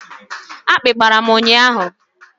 Akpi gbara m ụnyahụ